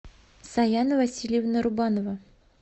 саяна васильевна рубанова